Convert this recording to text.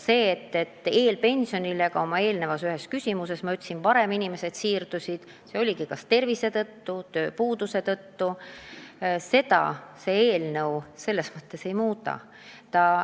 Nagu ma ühele küsimusele vastates juba ütlesin, eelpensionile siirdutakse kas halva tervise tõttu või tööpuuduse tõttu ja seda see eelnõu ei muuda.